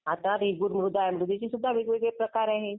आता. बेगमृद्ध आहे. त्याचे सुद्धा वेगवेगळे प्रकार आहे.